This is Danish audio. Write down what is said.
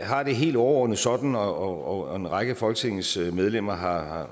har det helt overordnet sådan og en hel række af folketingets medlemmer har